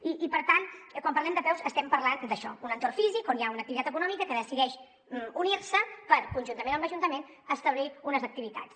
i per tant quan parlem d’apeus estem parlant d’això d’un entorn físic on hi ha una activitat econòmica que decideix unir se per conjuntament amb l’ajuntament establir unes activitats